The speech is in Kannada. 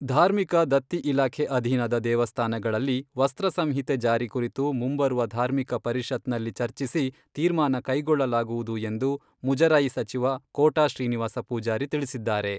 ಧಾರ್ಮಿಕ ದತ್ತಿ ಇಲಾಖೆ ಅಧೀನದ ದೇವಸ್ಥಾನಗಳಲ್ಲಿ ವಸ್ತ್ರ ಸಂಹಿತೆ ಜಾರಿ ಕುರಿತು ಮುಂಬರುವ ಧಾರ್ಮಿಕ ಪರಿಷತ್ನಲ್ಲಿ ಚರ್ಚಿಸಿ ತೀರ್ಮಾನ ಕೈಗೊಳ್ಳಲಾಗುವುದು ಎಂದು ಮುಜರಾಯಿ ಸಚಿವ ಕೋಟಾ ಶ್ರೀನಿವಾಸ ಪೂಜಾರಿ ತಿಳಿಸಿದ್ದಾರೆ.